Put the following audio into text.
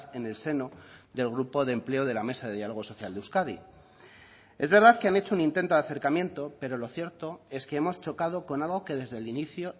en el seno del grupo de empleo de la mesa de diálogo social de euskadi es verdad que han hecho un intento de acercamiento pero lo cierto es que hemos chocado con algo que desde el inicio